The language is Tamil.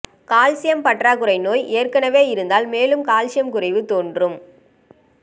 கால்சியம் பற்றாக்குறை நோய் ஏற்கனவே இருந்தால் மேலும் கால்சியக் குறைவு தோன்றும்